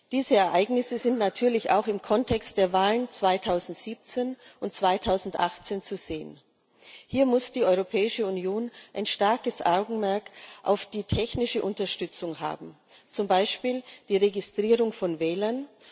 Diese Ereignisse sind natürlich auch im Kontext der Wahlen 2017 und 2018 zu sehen. Hier muss die Europäische Union ein starkes Augenmerk auf die technische Unterstützung haben, zum Beispiel die Registrierung von Wählern.